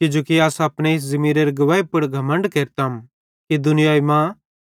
किजोकि अस अपने इस ज़मीरेरे गुवैही पुड़ घमण्ड केरतम कि दुनियाई मां